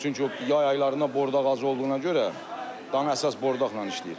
O çünki yay aylarında bordaq az olduğuna görə dana əsas bordaqla işləyir.